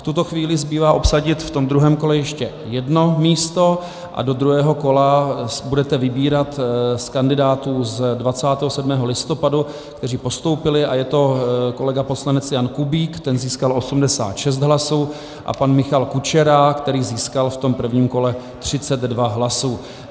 V tuto chvíli zbývá obsadit v tom druhém kole ještě jedno místo a do druhého kola budete vybírat z kandidátů z 27. listopadu, kteří postoupili, a je to kolega poslanec Jan Kubík, ten získal 86 hlasů, a pan Michal Kučera, který získal v tom prvním kole 32 hlasů.